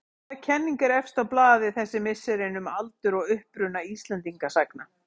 Hvaða kenning er efst á blaði þessi misserin um aldur og uppruna Íslendingasagna?